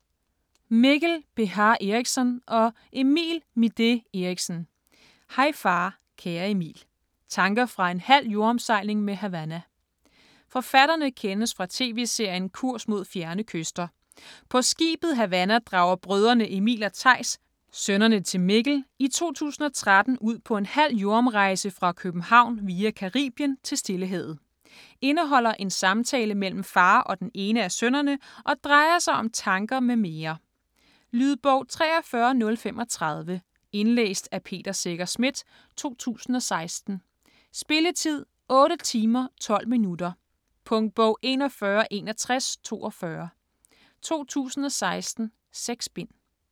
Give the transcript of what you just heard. Beha Erichsen, Mikkel og Midé Erichsen, Emil: Hej far kære Emil: tanker fra en halv jordomsejling med Havana Forfatterne kendes fra tv-serien "Kurs Mod Fjerne Kyster". På skibet Havanna drager brødrene Emil og Theis, sønnerne til Mikkel, i 2013 ud på en halv jordomrejse fra København via Caribien til Stillehavet. Indeholder en samtale mellem far og den ene af sønnerne, og drejer sig om tanker m.m. Lydbog 43035 Indlæst af Peter Secher Schmidt, 2016. Spilletid: 8 timer, 12 minutter. Punktbog 416142 2016. 6 bind.